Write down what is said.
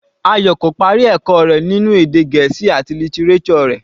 Ayò kò parí ẹ̀kọ́ rẹ̀ ninu èdè Gẹ̀ẹ́sì àti lítíréṣọ̀ rẹ̀.